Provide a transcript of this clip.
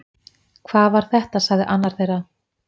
Hvað var þetta sagði annar þeirra